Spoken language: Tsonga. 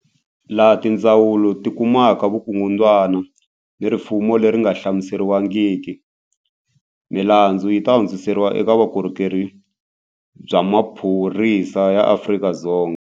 Laha tindzawulo ti kumaka vukungundwani ni rifuwo leri nga hlamuseriwangiki, milandzu yi ta hundziseriwa eka Vukorhokeri bya Maphorisa ya Afrika-Dzonga.